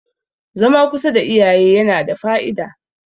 zama kusa da iyaye yana da Fa`ida